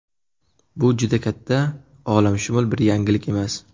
Bu juda katta olamshumul bir yangilik emas.